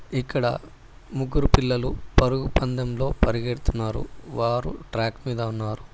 ఇక్కడ ముగ్గురు పిల్లలు పరుగుపందంలో పరిగెడుతున్నారు వారు ట్రాక్ మీద ఉన్నారు.